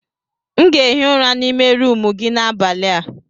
M ga-ehi ụra n'ime rumụ gị n'abalị a.